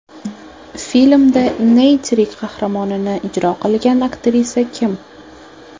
Filmda Neytiri qahramonini ijro qilgan aktrisa kim?